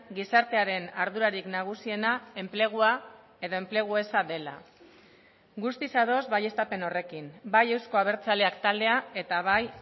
gizartearen ardurarik nagusiena enplegua eta enplegu eza dela guztiz ados baieztapen horrekin bai euzko abertzaleak taldea eta bai